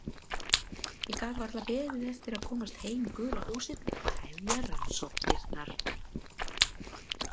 Ég gat varla beðið eftir að komast heim í gula húsið og hefja rannsóknirnar.